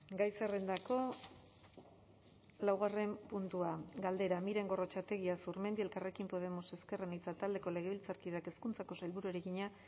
gai zerrendako laugarren puntua galdera miren gorrotxategi azurmendi elkarrekin podemos ezker anitza taldeko legebiltzarkideak hezkuntzako sailburuari egina